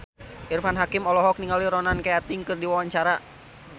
Irfan Hakim olohok ningali Ronan Keating keur diwawancara